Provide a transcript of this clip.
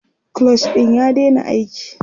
clutch ɗin ya daina aiki